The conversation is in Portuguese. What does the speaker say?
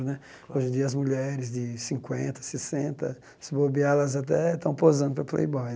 Né hoje em dia, as mulheres de cinquenta, sessenta, se bobear, elas até estão posando para Playboy.